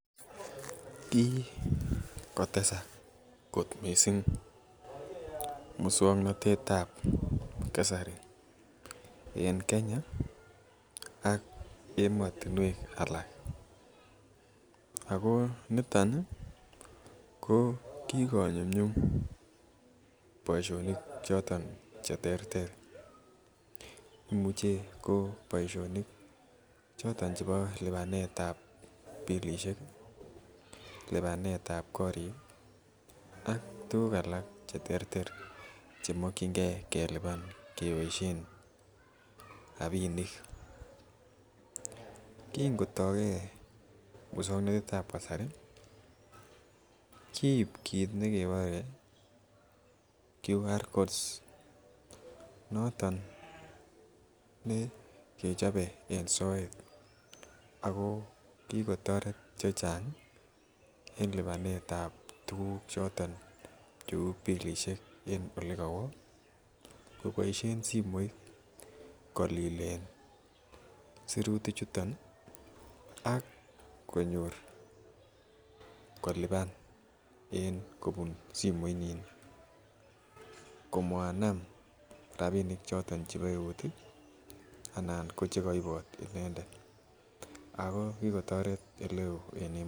Ki kotesak musuaknotetab kasari en Kenya ih ak emotinuek alak. Ago niton ih ko kigo nyumnyum boisionik choton cheterter, imuche ko boisionik choton chebo lubanetab pilisiek, libanetab korik ak alak cheter ter. Chemokienge keliban keboisien rabinik kingotake musuaknotetab kasari kiib quick recognition codes noton nekechabe en soet ago kikotoret chechang ih en libanetab tuguk choton cheuu pilisiek en olegawo ih kobaishien simoit kolilen, siratik chuton ak konyor koliban kobun simoit nyin komanam rabinik choton chebo eut ih anan ko chegaibot inendet.